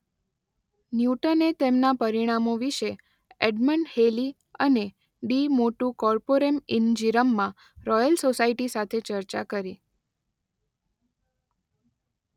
ન્યૂટને તેમના પરિણામો વિશે એડમંડ હેલી અને De Motu Corporum in Gyrum માં રોયલ સોસાયટી સાથે ચર્ચા કરી.